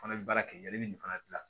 Fana bɛ baara kɛ yanni nin fana dilan